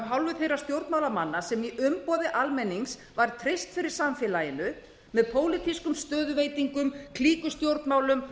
hálfu þeirra stjórnmálamanna sem í umboði almennings var treyst fyrir samfélaginu með pólitískum stöðuveitingum klíkustjórnmálum